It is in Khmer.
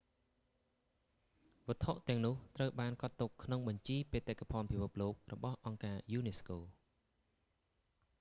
វត្ថុទាំងនោះត្រូវបានកត់ទុកក្នុងបញ្ជីបេតិកភណ្ឌពិភពលោករបស់អង្គការយូណេស្កូ